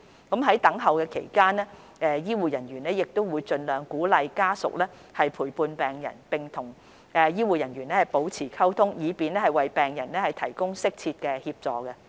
在等候期間，醫護人員亦會盡量鼓勵家屬陪伴病人並與醫護人員保持溝通，以便為病人提供適切的協助。